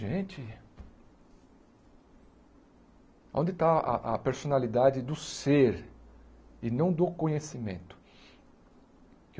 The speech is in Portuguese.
Gente... Onde está a a personalidade do ser e não do conhecimento?